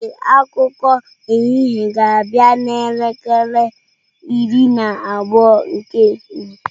Ee, akụkọ ehihie ga-abịa n'elekere iri na abụọ nke ehihie.